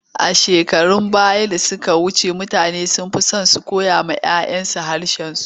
Shekarun baya da suka wuce, mutane sun fi so su koyawa 'ya 'yansu harshensu.